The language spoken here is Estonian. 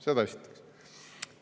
Seda esiteks.